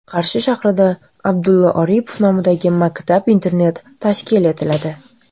Qarshi shahrida Abdulla Oripov nomidagi maktab-internat tashkil etiladi.